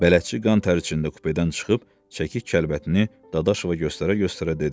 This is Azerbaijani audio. Bələdçi qan təri içində kupedən çıxıb, çəki kəlbətini Dadaşova göstərə-göstərə dedi: